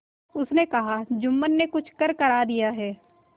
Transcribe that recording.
उसने कहाजुम्मन ने कुछ करकरा दिया है